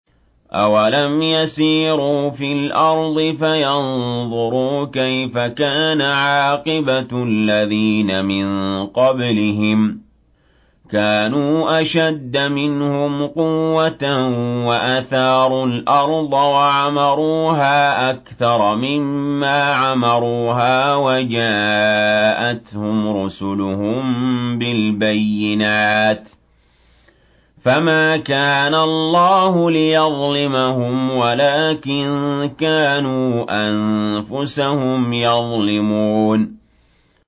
أَوَلَمْ يَسِيرُوا فِي الْأَرْضِ فَيَنظُرُوا كَيْفَ كَانَ عَاقِبَةُ الَّذِينَ مِن قَبْلِهِمْ ۚ كَانُوا أَشَدَّ مِنْهُمْ قُوَّةً وَأَثَارُوا الْأَرْضَ وَعَمَرُوهَا أَكْثَرَ مِمَّا عَمَرُوهَا وَجَاءَتْهُمْ رُسُلُهُم بِالْبَيِّنَاتِ ۖ فَمَا كَانَ اللَّهُ لِيَظْلِمَهُمْ وَلَٰكِن كَانُوا أَنفُسَهُمْ يَظْلِمُونَ